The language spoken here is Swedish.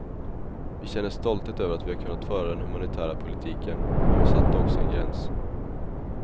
Vi känner stolthet över att vi har kunnat föra den humanitära politiken, men vi satte också en gräns.